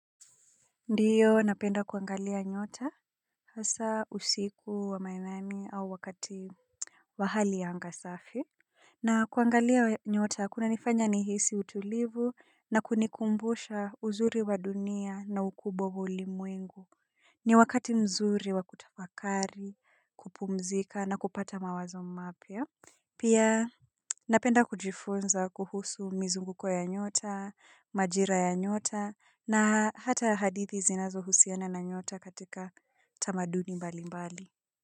Ndiyo napenda kuangalia nyota hasa usiku wa manane au wakati wa hali ya anga safi na kuangalia nyota kuna nifanya nihisi utulivu na kunikumbusha uzuri wa dunia na ukubwa wa ulimwengu ni wakati mzuri wa kutafakari kupumzika na kupata mawazo mapya pia napenda kujifunza kuhusu mizunguko ya nyota majira ya nyota na hata hadithi zinazo husiana na nyota katika tamaduni mbali mbali.